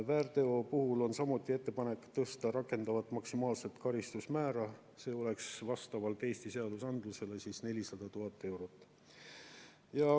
Väärteo puhul on samuti ettepanek tõsta rakendatavat maksimaalset karistusmäära, see oleks vastavalt Eesti seadusandlusele 400 000 eurot.